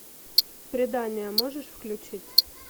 предание можешь включить